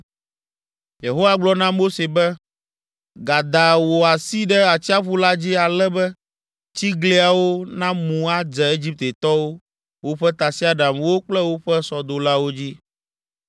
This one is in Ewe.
Yehowa gblɔ na Mose be, “Gada wò asi ɖe atsiaƒu la dzi ale be tsigliawo namu adze Egiptetɔwo, woƒe tasiaɖamwo kple woƒe sɔdolawo dzi.”